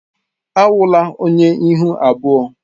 Awụla onye ihu abụọ!